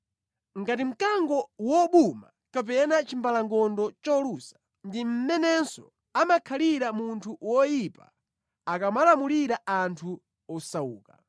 Ngati mkango wobuma kapena chimbalangondo cholusa ndi mmenenso amakhalira munthu woyipa akamalamulira anthu osauka.